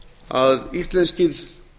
að íslenskir